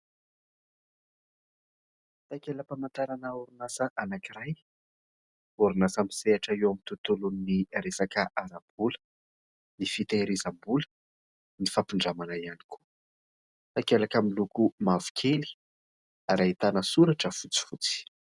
Takela-pamantarana orinasa anankiray ; orinasa misehatra eo amin'ny tontolon'ny resaka ara-bola, ny fitehirizam-bola, ny fampindramana ihany koa. Takelaka miloko mavokely ary ahitana soratra fotsifotsy.